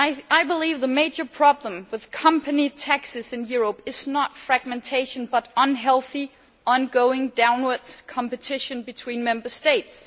I believe that the major problem with company taxes in Europe is not fragmentation, but unhealthy ongoing downward competition between Member States.